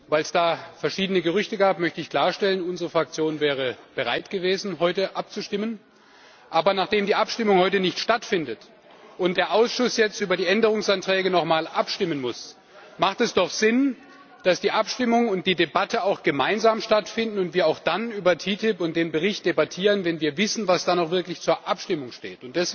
Weil es da verschiedene Gerüchte gab, möchte ich klarstellen Unsere Fraktion wäre bereit gewesen, heute abzustimmen. Aber nachdem die Abstimmung heute nicht stattfindet und der Ausschuss jetzt über die Änderungsanträge noch mal abstimmen muss, macht es doch Sinn, dass die Abstimmung und die Debatte auch gemeinsam stattfinden und wir dann über TTIP und den Bericht debattieren, wenn wir wissen, was dann auch wirklich zur Abstimmung steht.